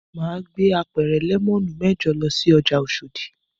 Mà á gbé apẹ̀rẹ̀ lẹ́mọ́nù mẹ́jọ lọ sí ọjà Oṣòdì.